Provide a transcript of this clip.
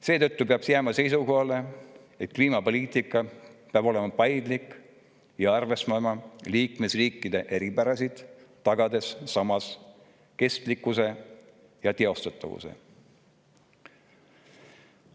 Seetõttu peaks jääma seisukohale, et kliimapoliitika peab olema paindlik ja arvestama liikmesriikide eripärasid, tagades samas kestlikkuse ja teostatavuse.